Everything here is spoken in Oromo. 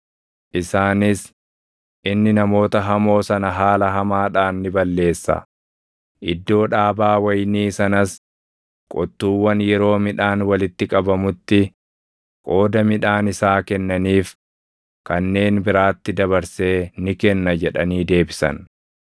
Isaanis, “Inni namoota hamoo sana haala hamaadhaan ni balleessa; iddoo dhaabaa wayinii sanas qottuuwwan yeroo midhaan walitti qabamutti qooda midhaan isaa kennaniif kanneen biraatti dabarsee ni kenna” jedhanii deebisan.